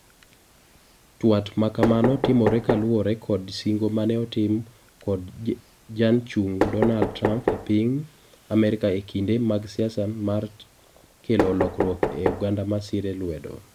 Twat makamano timore kaluwore kod singo mane otim kod Janchung Donald Trump eping Amerika ekinde mag siasa mar kelo lokruok ne oganda masire lwedo.